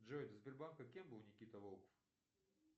джой до сбербанка кем был никита волков